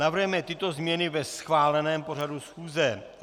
Navrhujeme tyto změny ve schváleném pořadu schůze: